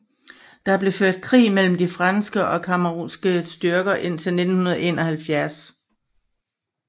Der blev ført krig mellem de franske og camerounske styrker indtil 1971